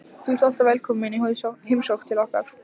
Þú ert alltaf velkomin í heimsókn til okkar.